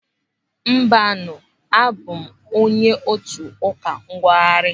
Mbanu, abụ m onye otu Ụka Nnwogharị.